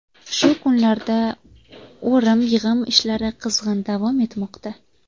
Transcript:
Shu kunlarda o‘rim-yig‘im ishlari qizg‘in davom etmoqda.